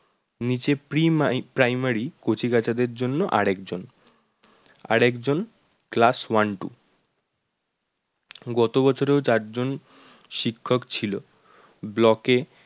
নিচে ~pre mi primary কচিকাঁচাদের জন্য আর একজন আর একজন class one, two গত বছরেও চারজন শিক্ষক ছিল block এ